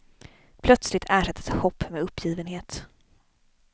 Plötsligt ersattes hopp med uppgivenhet.